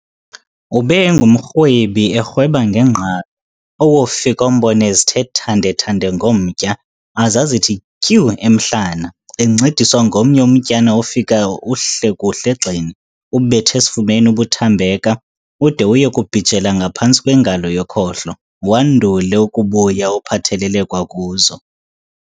Ube engumrhwebi erhweba ngengqalo, owofika umbone ezithe thande-thande ngomtya, aze azithi tyu emhlana , encediswa ngomnye umtyana ofika uhle kuhle egxeni, ubeth'esifubeni ubuthambeka, ude uye kubhijela ngaphantsi kwengalo yokhohlo, wandule ukubuya uphathelele kwakuzo.